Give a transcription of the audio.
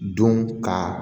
Don ka